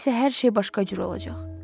İndi isə hər şey başqa cür olacaq.